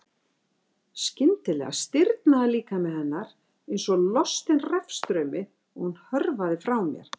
Skyndilega stirðnaði líkami hennar einsog lostin rafstraumi og hún hörfaði frá mér.